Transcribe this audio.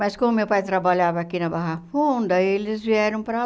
Mas, como meu pai trabalhava aqui na Barra Funda, eles vieram para